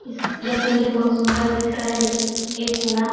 इस यह बिल्डिंग बहुत सुंदर दिख रहा है लेकिन एक कोना--